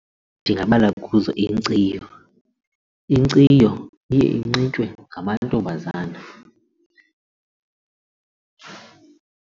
Ndingabala kuzo inkciyo, inkciyo iye inxitywe ngamantombazana.